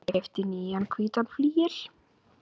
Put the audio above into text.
Ég keypti nýjan hvítan flygil.